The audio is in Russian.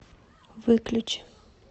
выключи